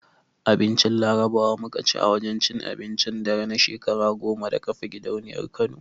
Abincin Larabawa muka ci a wajen cin abincin dare na shekara goma da kafa gidauniyar Kano.